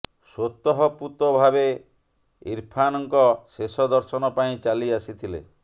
ସ୍ୱତଃପୁତ ଭାବେ ଇର୍ଫାନ୍ଙ୍କ ଶେଷ ଦର୍ଶନ ପାଇଁ ଚାଲି ଆସିଥିଲେ